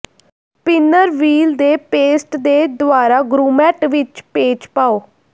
spinner wheel ਦੇ paste ਦੇ ਦੁਆਰਾ ਗਰੂਮੈਟ ਵਿੱਚ ਪੇਚ ਪਾਓ